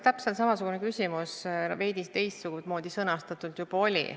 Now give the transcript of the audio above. Täpselt samasugune küsimus veidi teistmoodi sõnastatult juba oli.